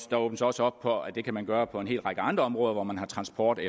der åbnes også op for at det kan man gøre på en hel række andre områder hvor transporten